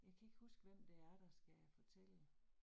Jeg kan ikke huske, hvem det er, der skal fortælle